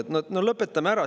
No lõpetame ära!